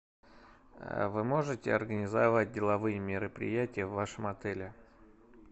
вы можете организовать деловые мероприятия в вашем отеле